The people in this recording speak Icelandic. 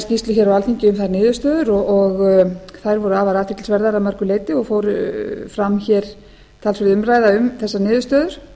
skýrslu hér á alþingi um þær niðurstöður og þær voru afar athyglisverðar að mörgu leyti og fór fram hér talsverð umræða um þessar niðurstöður